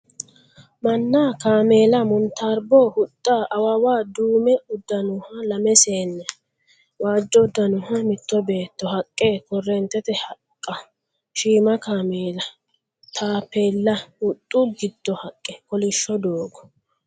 Manna, kaameela, montarbo, huxxa, awawa, duume uddanoha lame seenne, waajjo uddaanoha mitto beetto, haqqe, korreentete haqqa. Shiima kaameela. Taappeella, huxxu giddo haqqa, kolishsho doogo.